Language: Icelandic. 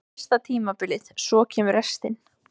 Það er fyrsta tímabilið, svo kemur restin.